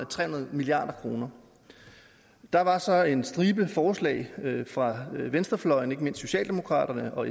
tre hundrede milliard kroner der var så en stribe forslag fra venstrefløjen ikke mindst fra socialdemokraterne og